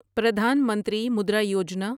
Pradhan Mantri Mudra Yojana